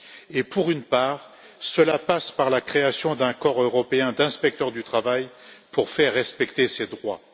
et cela passe en partie par la création d'un corps européen d'inspecteurs du travail pour faire respecter ces droits.